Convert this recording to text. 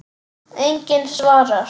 Enginn svarar.